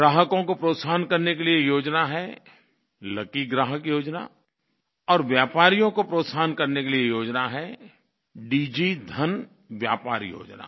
ग्राहकों को प्रोत्साहन करने के लिये योजना है लकी ग्राहक योजना और व्यापारियों को प्रोत्साहन करने के लिये योजना है दिगी धन व्यापार योजना